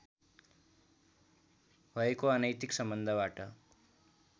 भएको अनैतिक सम्बन्धबाट